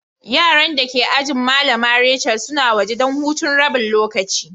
Yaran da ke ajina Mallama Rachel suna waje dan hutun rabin lokaci.